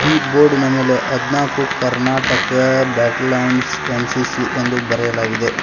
ಈ ಬೋರ್ಡಿನ ಮೇಲೆ ಹದಿನಾಲ್ಕು ಕರ್ನಾಟಕ ಬ್ಯಾಟಲ್ ಲೈನ್ಸ್ ಏನ್_ಸಿ_ಸಿ ಎಂದು ಬರೆಯಲಾಗಿದೆ.